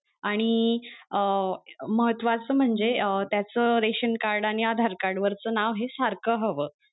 आणि अं महत्वाचं म्हणजे अं त्याच रेशन card आणि आधार card वरच नाव हे सारखं हवं.